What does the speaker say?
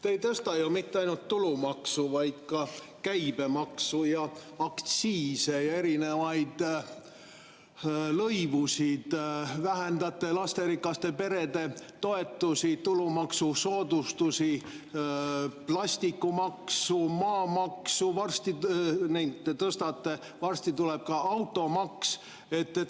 Te ei tõsta ju mitte ainult tulumaksu, vaid ka käibemaksu ja aktsiise ja erinevaid lõivusid, vähendate lasterikaste perede toetust, tulumaksusoodustusi, plastimaks, maamaks, varsti tuleb ka automaks.